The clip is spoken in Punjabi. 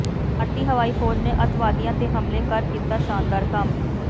ਭਾਰਤੀ ਹਵਾਈ ਫ਼ੌਜ ਨੇ ਅੱਤਵਾਦੀਆਂ ਤੇ ਹਮਲਾ ਕਰ ਕੀਤਾ ਸ਼ਾਨਦਾਰ ਕੰਮ